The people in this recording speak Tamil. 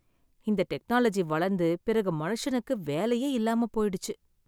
இந்த டெக்னாலஜி வளர்ந்து பிறகு மனுஷனுக்கு வேலையே இல்லாம போயிடுச்சு.